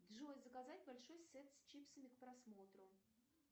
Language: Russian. джой заказать большой сет с чипсами к просмотру